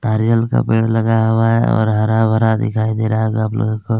नारियल का पेड़ लगाया हुआ है और हरा-भरा दिखाई दे रहा गाप लोगो को--